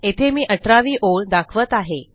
येथे मी अठरावी ओळ दाखवत आहे